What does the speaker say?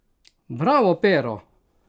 Bravo, Pero!